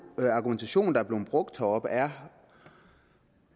den argumentation der er blevet brugt heroppe er